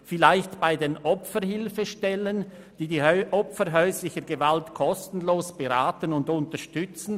Vielleicht bei den Opferhilfestellen, welche die Opfer häuslicher Gewalt kostenlos beraten und unterstützen?